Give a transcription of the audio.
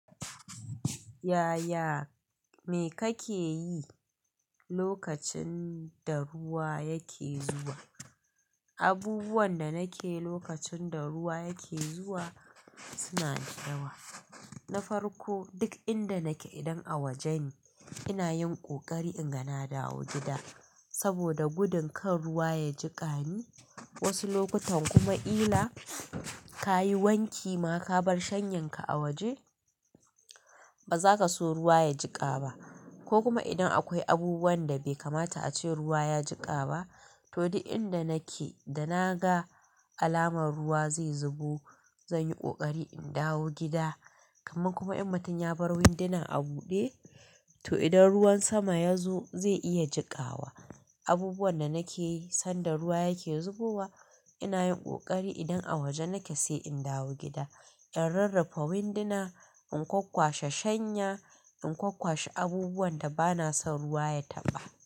Yaya, me kake yi lokacin da ruwa yake zuwa? Abubuwan da nake yi lokacin da ruwa yake zuwa suna da yawa. Na farko, duk inda nake idan a waje ne, ina yin ƙoƙari in ga na dawo gida saboda gudun kan ruwa ya jiƙani. Wasu lokutan kuma kila ka yi wanki ma ka bar shanyanka a waje, ba za ka so ruwa ya jiƙa ba. Ko kuma idan akwai abubuwan da bai kamata a ce ruwa ya jiƙa ba, to duk inda nake da na ga alamar ruwa zai zubo, zan yi ƙoƙari in dawo gida. Kaman kuma in mutum ya bar winduna a buɗe, to idan ruwan sama ya zo zai iya jiƙawa. Abubuwan da nake yi sanda ruwa yake zubowa, ina yin ƙoƙari idan a waje nake sai in dawo gida, in rarrafa winduna, in kwakkwashe shanya, in kwakkwashe abubuwan da ba na son ruwa ya taɓa.